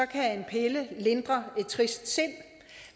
kan en pille lindre et trist sind